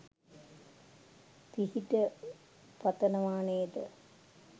පිහිට පතනව නේද?